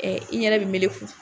i ɲɛda bi meleku